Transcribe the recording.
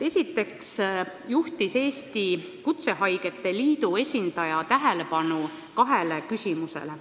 Kõigepealt juhtis Eesti Kutsehaigete Liidu esindaja tähelepanu kahele küsimusele.